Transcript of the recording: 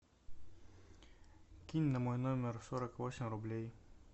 кинь на мой номер сорок восемь рублей